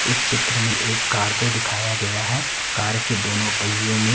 इस चित्र मे एक कार को दिखाया गया है कार के दोनो पहियों मे --